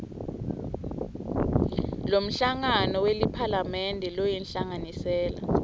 lomhlangano weliphalamende loyinhlanganisela